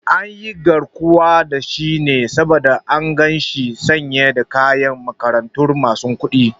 An yi garkuwa da shi ne saboda an gan shi sanye da kayan makarantar masu kuɗi